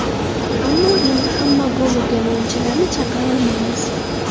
Ammo endi hamma gol urgan o‘yinchilarni chaqira olmaymiz.